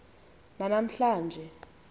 nana mhla nje